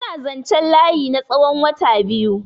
Suna zanchen layi na tsawon wata biyu yanzunnan.